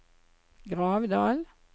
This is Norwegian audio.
Gravdal